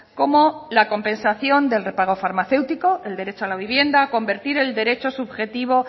como la compensación del repago farmacéutico el derecho a la vivienda convertir el derecho subjetivo